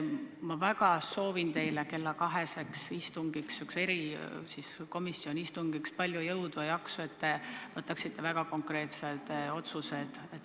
Ma soovin teile kella kaheseks erikomisjoni istungiks palju jõudu ja jaksu, et te võtaksite vastu väga konkreetsed otsused.